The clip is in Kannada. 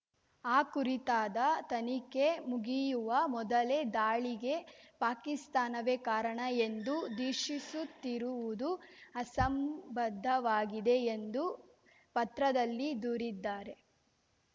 ಆ ಕುರಿತಾದ ತನಿಖೆ ಮುಗಿಯುವ ಮೊದಲೇ ದಾಳಿಗೆ ಪಾಕಿಸ್ತಾನವೇ ಕಾರಣ ಎಂದು ದೀಷಿಸುತ್ತಿರುವುದು ಅಸಂಬದ್ಧವಾಗಿದೆ ಎಂದು ಪತ್ರದಲ್ಲಿ ದೂರಿದ್ದಾರೆ